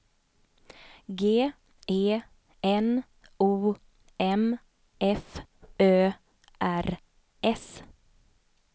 G E N O M F Ö R S